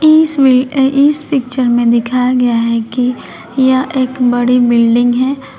इस वि अ इस पिक्चर मे दिखाया गया है कि यह एक बड़ी बिल्डिंग है।